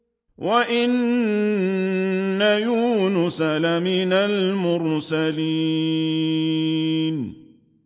وَإِنَّ يُونُسَ لَمِنَ الْمُرْسَلِينَ